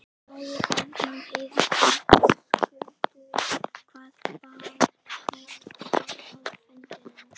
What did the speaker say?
Logi Bergmann Eiðsson: Höskuldur hvað bar hæst á fundinum?